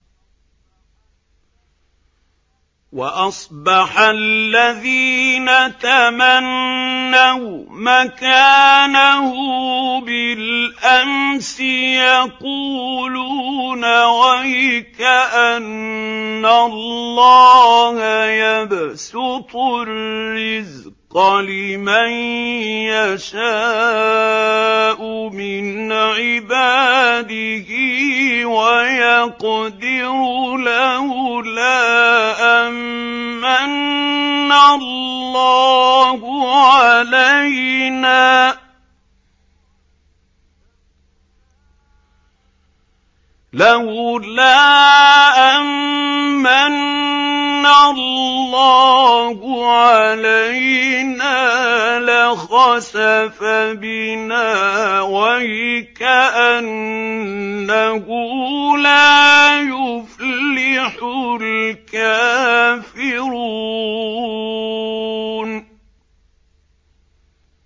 وَأَصْبَحَ الَّذِينَ تَمَنَّوْا مَكَانَهُ بِالْأَمْسِ يَقُولُونَ وَيْكَأَنَّ اللَّهَ يَبْسُطُ الرِّزْقَ لِمَن يَشَاءُ مِنْ عِبَادِهِ وَيَقْدِرُ ۖ لَوْلَا أَن مَّنَّ اللَّهُ عَلَيْنَا لَخَسَفَ بِنَا ۖ وَيْكَأَنَّهُ لَا يُفْلِحُ الْكَافِرُونَ